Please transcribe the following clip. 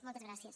moltes gràcies